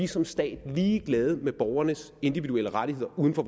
som stat ligeglad med borgernes individuelle rettigheder uden for